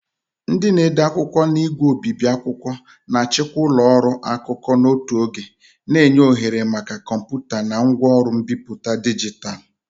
Ndị na-ede akwụkwọ na ígwè obibi akwụkwọ na-achịkwa ụlọ ọrụ akụkọ n'otu oge, na-enye ohere maka kọmputa na ngwaọrụ mbipụta dijitalụ.